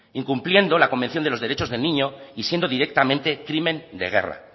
incumpliendo la convención de los derechos del niños y siendo directamente crimen de guerra